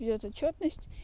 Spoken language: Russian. ведёт за чётность